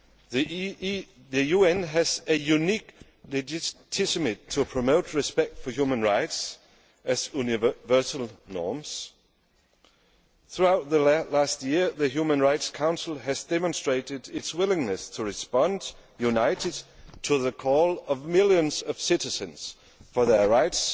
The UN has a unique legitimacy to promote respect for human rights as universal norms. Throughout the past year the Human Rights Council has demonstrated its willingness to respond in a united way to the call of millions of citizens for their right